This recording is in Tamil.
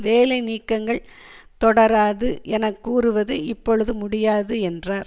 வேலை நீக்கங்கள் தொடராது என கூறுவது இப்பொழுது முடியாது என்றார்